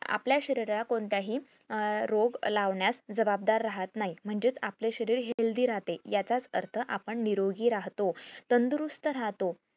आपल्या शरीराला कोणताही अं रोग लावण्यात जबाबदार राहत नाही म्हणजे आपले शरीर healthy राहते याचाच अर्थ आपण निरोगी राहत्तो तंदुरूस्त राहतो